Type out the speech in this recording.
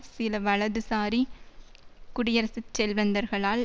சில வலதுசாரி குடியரசுக் செல்வந்தர்களால்